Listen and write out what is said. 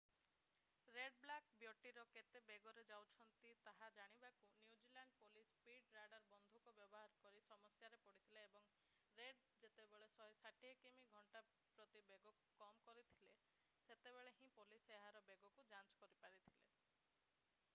Red black ବ୍ୟଟିରେ କେତେ ବେଗରେ ଯାଉଛନ୍ତି ତାହା ଜାଣିବାକୁ new zealand police speed radar ବନ୍ଧୁକ ବ୍ୟବହାର କରି ସମସ୍ୟାରେ ପଡ଼ିଥିଲା ଏବଂ ରେଡ୍ ଯେତେବେଳେ 160କିମି/ଘଣ୍ଟା ବେଗରୁ କମ କରିଥିଲେ ସେତେବେଳେ ହିଁ ପୋଲିସ ଏହାର ବେଗକୁ ଯାଞ୍ଚ କରିପାରିଥିଲା।